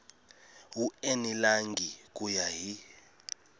wu enelangi ku ya hi